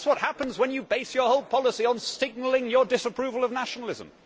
That is what happens when you base your whole policy on signalling your disapproval of nationalism.